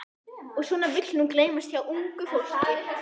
Og svona vill nú gleymast hjá ungu fólki.